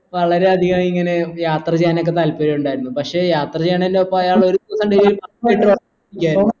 വളരെ അധികം ഇങ്ങനെ യാത്ര ചെയ്യാനൊക്കെ താത്പര്യണ്ടായിരുന്നു പക്ഷെ യാത്ര ചെയ്യാനന്റെ ഒപ്പം അയാളൊരു